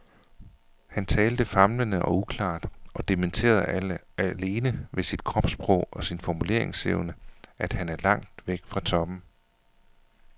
Han talte famlende og uklart og dementerede alene ved sit kropssprog og sin formuleringsevne, at han er langt væk fra toppen.